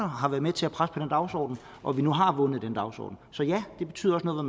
har været med til at presse på den dagsorden og at vi nu har vundet den dagsorden så ja det betyder også noget